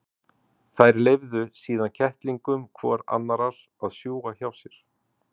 Þær leyfðu síðan kettlingum hvor annarrar að sjúga hjá sér.